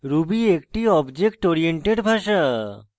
ruby একটি object oriented ভাষা